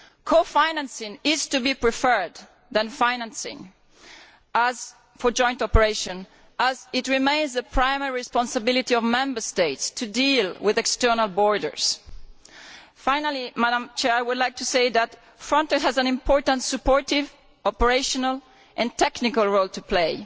Co financing is to be preferred to financing for joint operations as it remains the primary responsibility of Member States to deal with external borders. Finally, I would like to say that FRONTEX has an important, supportive, operational and technical role to play,